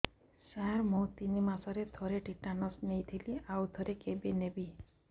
ସାର ମୁଁ ତିନି ମାସରେ ଥରେ ଟିଟାନସ ନେଇଥିଲି ଆଉ ଥରେ କେବେ ନେବି